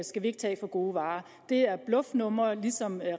skal vi ikke tage for gode varer det er et bluffnummer ligesom